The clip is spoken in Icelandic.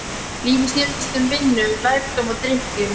Lífið snerist um vinnu, lærdóm og drykkju.